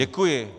Děkuji.